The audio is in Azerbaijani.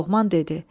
Loğman dedi: